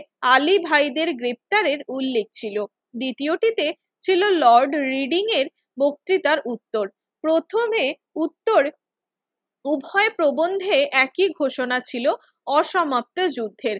আলী ভাইদের গ্রেফতারের উল্লেখ ছিল। দ্বিতীয়টিতে ছিল লর্ড রিডিংয়ের বক্তৃতার উত্তর। প্রথমে উত্তর উভয় প্রবন্ধে একই ঘোষণা ছিল, অসমাপ্ত যুদ্ধের।